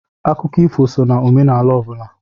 Akụkọ ifo sọ na omenala ọ bụla.